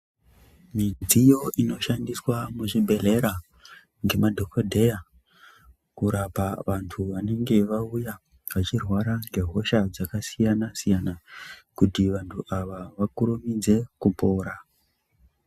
Midziyo ino shandiswa muzvi bhedhlera ngema dhogodheya kurapa vantu vanenge vanenge vauya vachirwara ngehosha dzakasiyana-siyana kuti vantu ava vakurumidze kupora.